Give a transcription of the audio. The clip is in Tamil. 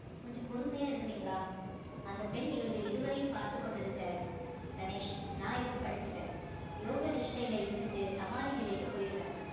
கொஞ்சம் பொறுமையா இருக்கிறீங்களா அந்தப் பெண் இவர்கள் இருவரையும் பார்த்துக் கொண்டிருக்க கணேஷ் நான் எப்ப படுத்துப்பேன் யோக நிஷ்டையில இருந்துட்டு சமாதி நிலைக்கு போயிருவேன்